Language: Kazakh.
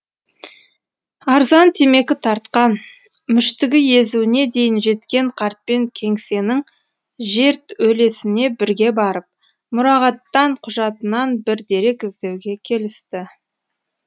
арзан темекі тартқан мүштігі езуіне дейін жеткен қартпен кеңсенің жертөлесіне бірге барып мұрағаттан құжатынан бір дерек іздеуге келісті